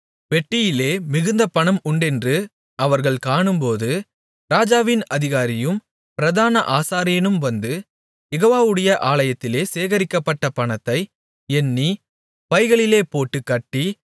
பெட்டியிலே மிகுந்த பணம் உண்டென்று அவர்கள் காணும்போது ராஜாவின் அதிகாரியும் பிரதான ஆசாரியனும் வந்து யெகோவாவுடைய ஆலயத்திலே சேகரிக்கப்பட்ட பணத்தை எண்ணி பைகளிலேபோட்டுக் கட்டி